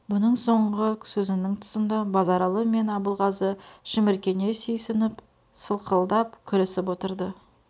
бұның соңғы сөзінің тұсында базаралы мен абылғазы шіміркене сүйсініп сылқылдап күлісіп отырды